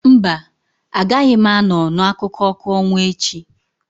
No, I won't be at the moon light tale tomorrow.